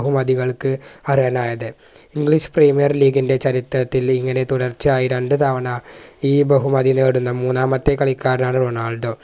ബഹുമതികൾക്ക് അർഹനായത് English Premier League ൻറെ ചരിത്രത്തിൽ ഇങ്ങനെ തുടർച്ചയായി രണ്ട് തവണ ഈ ബഹുമതി നേടുന്ന മൂന്നാമത്തെ കളിക്കാരനാണ് റൊണാൾഡോ